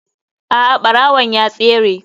A'a barawon ya tsere.